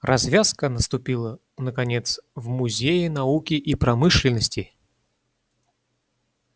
развязка наступила наконец в музее науки и промышленности